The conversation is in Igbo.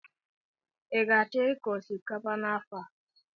Ị ga-achọ ịkọ osikapa n'afọ a?